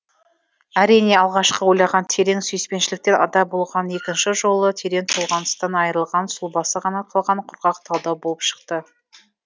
әрине алғашқы ойлаған терең сүйіспеншіліктен ада болған екінші жолы терең толғаныстан айырылған сұлбасы ғана қалған құрғақ талдау болып шықты